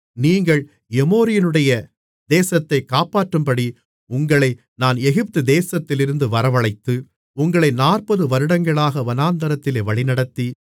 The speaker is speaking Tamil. நீங்கள் எமோரியனுடைய தேசத்தைக் கைப்பற்றும்படி உங்களை நான் எகிப்து தேசத்திலிருந்து வரவழைத்து உங்களை நாற்பது வருடங்களாக வனாந்திரத்திலே வழிநடத்தி